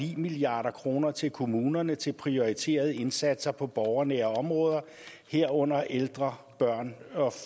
milliard kroner til kommunerne til prioriterede indsatser på borgernære områder herunder til ældre børne